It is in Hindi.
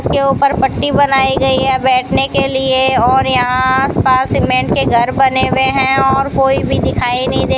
इस के ऊपर पट्टी बनाई गई है बैठने के लिए और यहां आस पास सीमेंट के घर बने हुए हैं और कोई भी दिखाई नहीं दे --